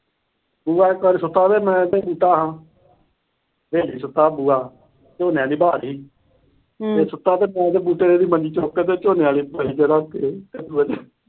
ਬੁਆ ਇੱਕ ਵਾਰ ਸੁੱਤਾ ਪਿਆ। ਮੈਂ ਤੇ ਬੂਟਾ ਸਾਂ। ਫਿਰ ਨੀ ਸੁੱਤਾ ਬੁਆ। ਝੋਨੇ ਤੇ ਵਾਅ ਲੀ। ਇਹ ਸੁੱਤਾ ਪਿਆ। ਮੈਂ ਤੇ ਬੂਟਾ ਇਹਦੀ ਮੰਜੀ ਚੁੱਕ ਕੇ ਝੋਨੇ ਆਲੀ ਪਰਾਲੀ ਤੇ ਰੱਖ ਆਏ।